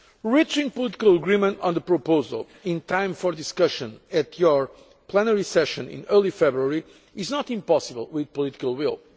Reaching political agreement on the proposal in time for discussion at your plenary session in early February is not impossible with political will.